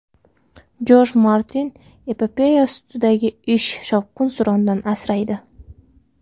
Jorj Martin: Epopeya ustidagi ish shovqin-surondan asraydi.